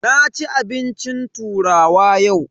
Na ci abincin turawa yau.